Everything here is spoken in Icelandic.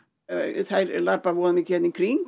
það er labbað voða mikið hér í kring